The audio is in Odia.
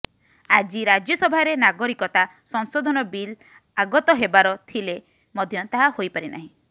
ଆଜି ରାଜ୍ୟସଭାରେ ନାଗରିକତା ସଂଶୋଧନ ବିଲ୍ ଆଗତ ହେବାର ଥିଲେ ମଧ୍ୟ ତାହା ହୋଇପାରିନାହିଁ